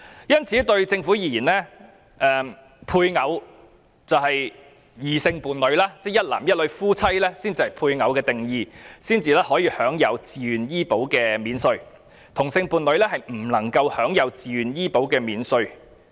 因此，政府認為配偶是異性伴侶，一男一女結合成為夫妻才可享有自願醫保扣稅，但同性伴侶則不能享有自願醫保扣稅。